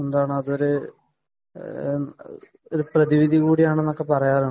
അതൊരു പല രോഗങ്ങൾക്കും അതൊരു പ്രതിവിധി കൂടിയാണെന്ന് പറയാറുണ്ട്